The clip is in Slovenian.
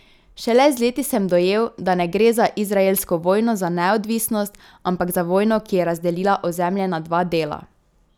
Šele z leti sem dojel, da ne gre za izraelsko vojno za neodvisnost, ampak za vojno, ki je razdelila ozemlje na dva dela.